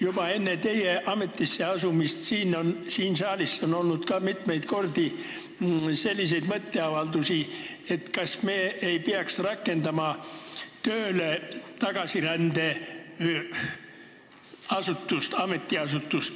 Juba enne teie ametisse asumist on siin saalis mitu korda olnud selliseid mõtteavaldusi, et kas me ei peaks tagasirände ametiasutust tööle rakendama.